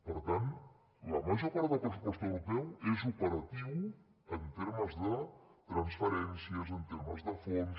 per tant la major part del pressupost europeu és operatiu en termes de transferències en termes de fons